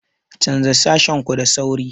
Canza sashen ku da sauri!